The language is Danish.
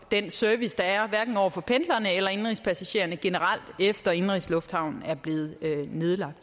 den service der er hverken over for pendlerne eller indenrigspassagererne generelt efter at indenrigslufthavnen er blevet nedlagt